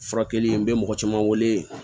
Furakɛli n bɛ mɔgɔ caman wele